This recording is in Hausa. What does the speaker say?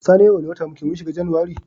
Sani yau wane wata muke mun shiga januwari?